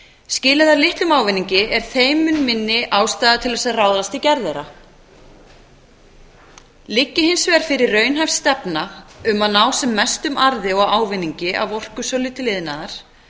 skili þær litlum ávinningi er þeim mun minni ástæða til þess að ráðast í gerð þeirra liggi hins vegar fyrir raunhæf stefna um að ná sem mestum arði og ávinningi af orkusölu til iðnaðar